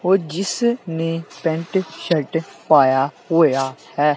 ਉਹ ਜਿਸ ਨੇ ਪੈਂਟ ਸ਼ਰਟ ਪਾਇਆ ਹੋਇਆ ਹੈ।